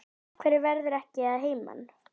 Af hverju ferðu ekki að heiman?